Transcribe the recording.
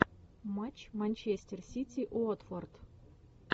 матч манчестер сити уотфорд